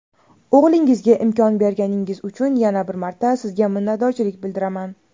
o‘g‘lingizga imkon berganingiz uchun yana bir marta Sizga minnatdorchilik bildiraman!.